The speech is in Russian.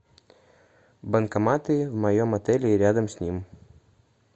банкоматы в моем отеле и рядом с ним